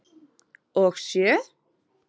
Og sjö?